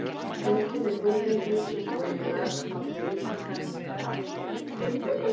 Einkenni þunglyndis geta verið mörg þó að þau liggi kannski ekki alveg í augum uppi.